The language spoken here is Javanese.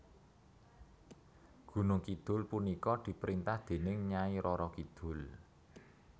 Gunung Kidul punika diperintah dening Nyai Roro Kidul